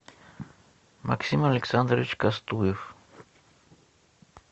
максим александрович кастуев